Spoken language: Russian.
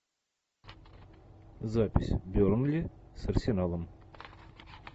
запись бернли с арсеналом